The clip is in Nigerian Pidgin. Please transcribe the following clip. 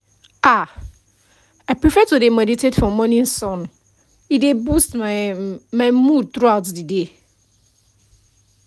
ah i prefer to dey meditate for morning sun e dey boost ehm my mood throughout the day